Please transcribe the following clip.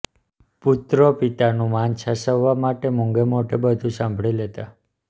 પુત્રો પિતાનું માન સાચવવા માટે મૂંગે મોઢે બધું સાંભળી લેતા